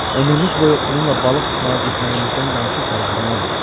Ömrümüz boyu onunla balıq tutmağa getməyimizdən danışıb fərəhlənərdik.